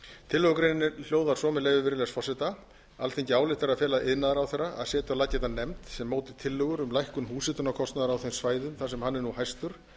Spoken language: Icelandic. tillögugreinin hljóðar svo með leyfi virðulegs forseta alþingi ályktar að fela iðnaðarráðherra að setja á laggirnar nefnd er móti tillögur um lækkun húshitunarkostnaðar á þeim svæðum þar sem hann er nú hæstur